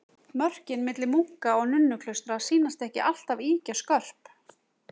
Mörkin milli munka- og nunnuklaustra sýnast ekki alltaf ýkja skörp.